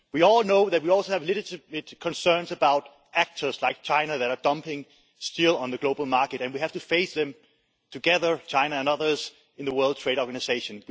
We also have legitimate concerns about actors like China that are dumping steel on the global market, and we have to face them together China and others in the World Trade Organization.